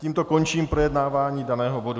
Tímto končím projednávání daného bodu.